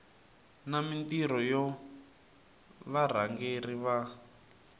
na mintirho ya varhangeri va